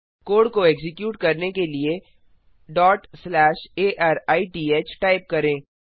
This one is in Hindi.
कोड को एक्जीक्यूट करने के लिए arithटाइप करें